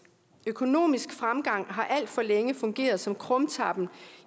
økonomisk fremgang har alt for længe fungeret som krumtappen